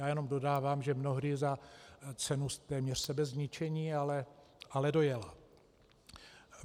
Já jenom dodávám, že mnohdy za cenu téměř sebezničení, ale dojela.